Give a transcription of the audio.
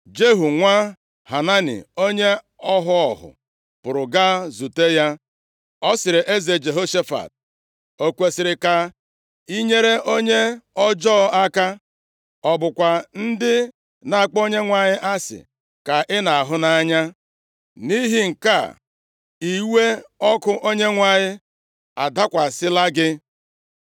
Jehu nwa Hanani, onye ọhụ ọhụ, pụrụ gaa izute ya; ọ sịrị eze Jehoshafat, “O kwesiri ka i nyere onye ọjọọ aka? Ọ bụkwa ndị na-akpọ Onyenwe anyị asị ka ị na-ahụ nʼanya? Nʼihi nke a iwe ọkụ Onyenwe anyị adakwasịla gị.